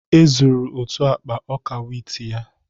E zuru otu akpa ọka wit ya